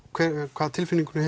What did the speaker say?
hvaða tilfinningu